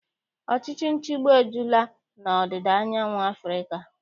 Ọchịchị nchịgbu ejula n'ọdịda anyanwụ Afrịka.